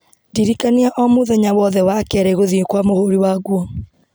ndirikania o mũthenya wothe wa kerĩ gũthiĩ kwa mũhũri wa nguo